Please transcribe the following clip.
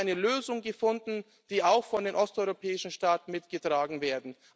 Wir haben eine Lösung gefunden, die auch von den osteuropäischen Staaten mitgetragen wird.